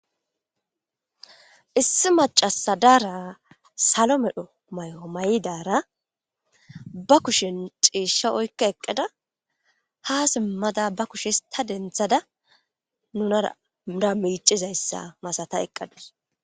Issi macasha dara salo mayo medho mayidara ba kushen ciishsha oyqada eeqidara ha siimmada ba kushe histta denththada nunara miccizayssa masata eeqadus